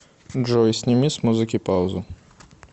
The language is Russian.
джой сними с музыки паузу